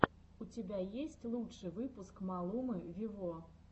у тебя есть лучший выпуск малумы вево